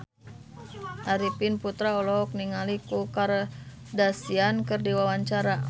Arifin Putra olohok ningali Khloe Kardashian keur diwawancara